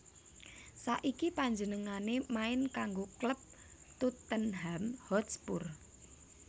Saiki panjenengané main kanggo klub Tottenham Hotspur